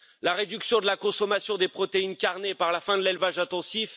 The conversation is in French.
la réduction de la consommation des protéines carnées par la fin de l'élevage intensif